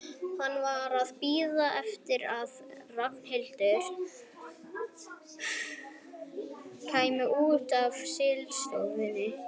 Hann var að bíða eftir að Ragnhildur kæmi út af slysavarðstofunni.